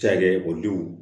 Ca kɛ denw